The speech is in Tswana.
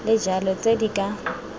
le jalo tse di ka